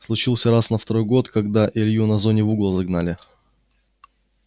случился раз на второй год когда илью на зоне в угол загнали